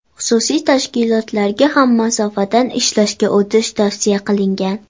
Xususiy tashkilotlarga ham masofadan ishlashga o‘tish tavsiya qilingan.